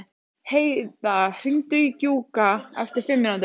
Heida, hringdu í Gjúka eftir fimm mínútur.